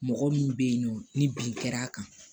Mɔgɔ min bɛ yen nɔ ni bin kɛra a kan